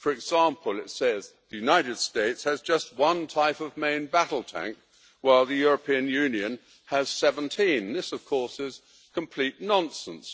For example, it says the United States has just one type of main battle tank while the European Union has 17. This, of course, is complete nonsense.